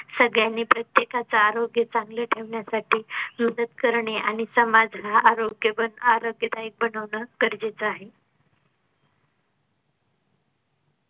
सगळ्यांनी प्रत्येकाच आरोग्य चांगल ठेवण्यासाठी मदत करणे आणि समाजला हा आरोग्य पण आरोग्यादायी बनवणं गरजेचं आहे.